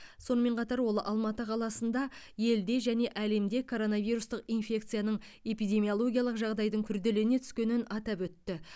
сонымен қатар ол алматы қаласында елде және әлемде коронавирустық инфекциясының эпидемиологиялық жағдайдың күрделіне түскенін атап өтті